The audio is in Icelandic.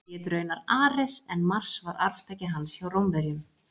hann hét raunar ares en mars var arftaki hans hjá rómverjum